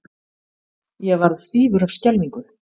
Ég varð stífur af skelfingu.